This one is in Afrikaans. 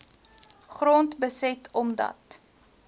grond beset omdat